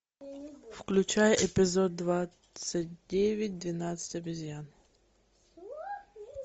включай эпизод двадцать девять двенадцать обезьян